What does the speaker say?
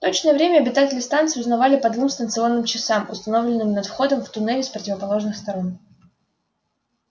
точное время обитатели станции узнавали по двум станционным часам установленным над входом в туннели с противоположных сторон